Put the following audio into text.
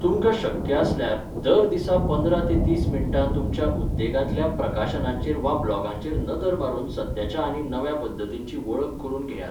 तुमकां शक्य आसल्यार, दर दिसा पंदरा ते तीस मिनटां तुमच्या उद्देगांतल्या प्रकाशनांचेर वा ब्लॉगांचेर नदर मारून सद्याच्या आनी नव्या पद्धतींची वळख करून घेयात.